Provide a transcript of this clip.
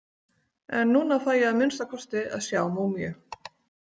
En núna fæ ég að minnsta kosti að sjá múmíu.